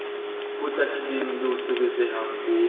potlakileng le o sebetsehang o